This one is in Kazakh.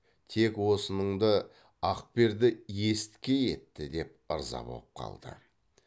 тек осыныңды ақперді есіткей етті деп ырза боп қалды